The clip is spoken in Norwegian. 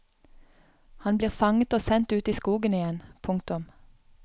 Han blir fanget og sendt ut i skogen igjen. punktum